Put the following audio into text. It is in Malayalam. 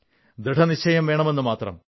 ദൃഢനിശ്ചയം വേണമെന്നു മാത്രം